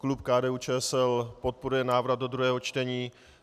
Klub KDU-ČSL podporuje návrat do druhého čtení.